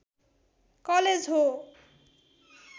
college हो